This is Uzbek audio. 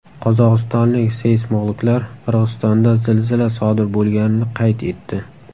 Qozog‘istonlik seysmologlar Qirg‘izistonda zilzila sodir bo‘lganini qayd etdi.